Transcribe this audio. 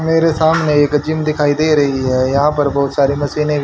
मेरे सामने एक जिम दिखाई दे रही हैं यहां पर बहुत सारी मशीनें भी--